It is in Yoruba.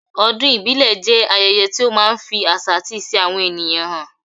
Ọdún ìbílẹ̀ jẹ́ ayẹyẹ tí ó máa ń fi àṣà àti ìṣe àwọn ènìyàn hàn.